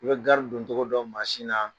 I bɛ gari doncogo dƆn mansin na